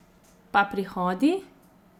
Pa prihodi?